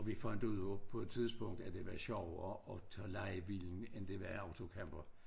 Og vi fandt ud af på et tidspunkt at det var sjovere og tage lejebilen end det var i autocamper